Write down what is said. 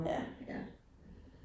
Ja, ja